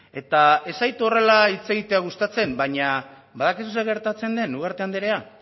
eta ez zait horrela hitz egitea gustatzen baina badakizu zer gertatzen den ugarte andrea